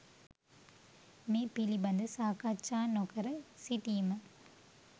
මේ පිළිබඳ සාකච්ඡා නොකර සිටීම